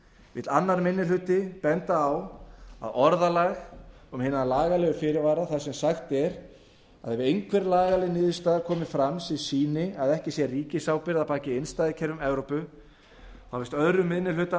vill annar minni hluti benda á að orðalag um hin lagalega fyrirvara þar sem sagt er að ef einhver lagaleg niðurstaða komi fram sem sýni að ekki sé ríkisábyrgð að baki innstæðukerfum evrópu finnst annar minni hluta